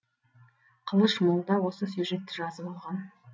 қылыш молда осы сюжетті жазып алған